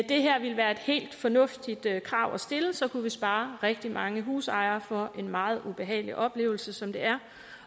det her ville være et helt fornuftigt krav at stille så kunne vi spare rigtig mange husejere for en meget ubehagelig oplevelse som det er